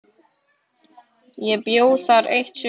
Ég bjó þar eitt sumar.